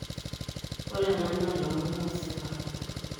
Ore ena naa ilomon oosipa.